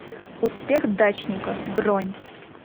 успех дачника бронь